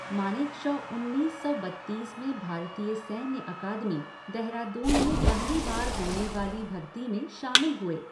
मानेकशॉ उन्नीस सौ बत्तीस में भारतीय सैन्य अकादमी, देहरादून में पहली बार होने वाली भरती में शामिल हुए।